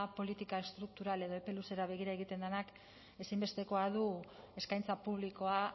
politika estruktural edo epe luzera begira egiten denak ezinbestekoa du eskaintza publikoa